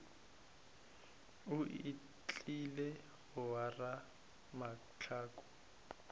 o tlile go ora mahlaku